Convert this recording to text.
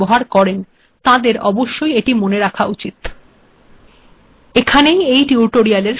যারা Windows operating সিস্টেমে LaTeX ব্যবহার কেরন তাদের অবশ্যই এটি মনে রাখা উচিত